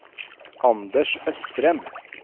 Anders Østrem